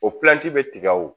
O bɛ tigɛ o